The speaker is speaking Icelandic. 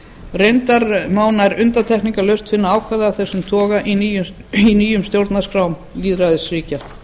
reyndar má nær undantekningarlaust finna ákvæði af þessum toga í nýjum stjórnarskrám lýðræðisríkja